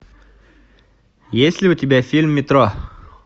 есть ли у тебя фильм метро